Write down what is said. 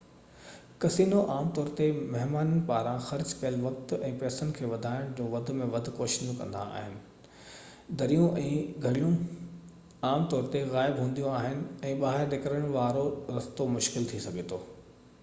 casino عام طور تي مهمانن پاران خرچ ڪيل وقت ۽ پئسن کي وڌائڻ جون وڌ ۾ وڌ ڪوششون ڪندا آهن دريون ۽ گھڙيون عام طور تي غائب هونديون آهن ۽ ٻاهر نڪرڻ وارو رستو مشڪل ٿي سگهي ٿو